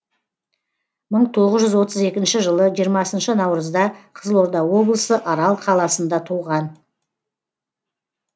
мың тоғыз жүз отыз екінші жылы жиырмасыншы наурызда қызылорда облысы арал қаласында туған